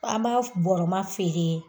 An b'a bɔrɔma feere